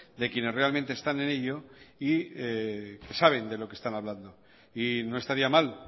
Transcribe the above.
de quienes realmente están en ello y que saben de lo que están hablando y no estaría mal